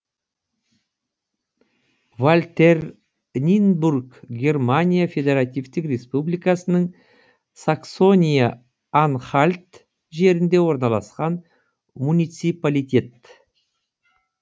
вальтернинбург германия федеративтік республикасының саксония анхальт жерінде орналасқан муниципалитет